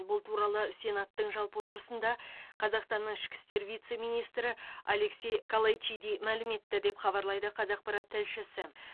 бұл туралы сенаттың жалпы отырысында қазақстанның ішкі істер вице министрі алексей калайчиди мәлім етті деп хабарлайды қазақпарат тілшісі